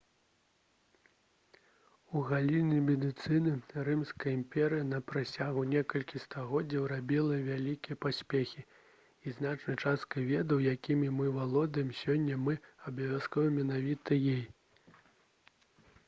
у галіне медыцыны рымская імперыя на працягу некалькіх стагоддзяў рабіла вялікія поспехі і значнай часткай ведаў якімі мы валодаем сёння мы абавязаны менавіта ёй